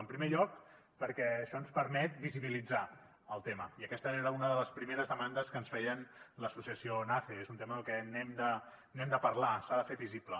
en primer lloc perquè això ens permet visibilitzar el tema i aquesta era una de les primeres demandes que ens feia l’associació nace és un tema del que n’hem de parlar s’ha de fer visible